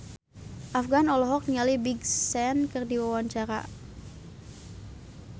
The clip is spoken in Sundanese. Afgan olohok ningali Big Sean keur diwawancara